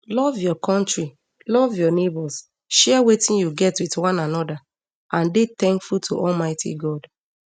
love your kontri love your neighbours share wetin you get wit one anoda and dey tankful to to almighty god